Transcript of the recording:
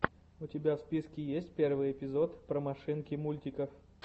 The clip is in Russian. у тебя в списке есть первый эпизод про машинки мультиков